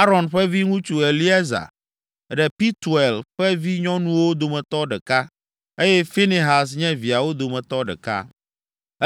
Aron ƒe viŋutsu, Eleaza, ɖe Pituel ƒe vinyɔnuwo dometɔ ɖeka, eye Finehas nye viawo dometɔ ɖeka.